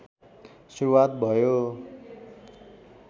सुरुवात भयो